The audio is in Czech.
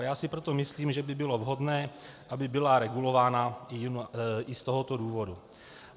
A já si proto myslím, že by bylo vhodné, aby byla regulována i z tohoto důvodu.